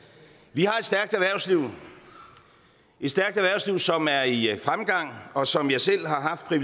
vi har et stærkt erhvervsliv et stærkt erhvervsliv som er i fremgang og som jeg selv har haft det